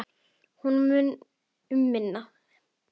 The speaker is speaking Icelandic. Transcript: Og munar um minna!